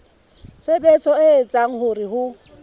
tshebetso e etsang hore ho